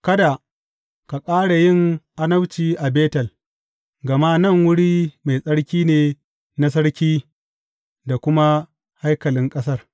Kada ka ƙara yin annabci a Betel, gama nan wuri mai tsarki ne na sarki da kuma haikalin ƙasar.